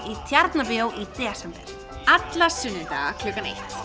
í Tjarnarbíói í desember alla sunnudaga klukkan eitt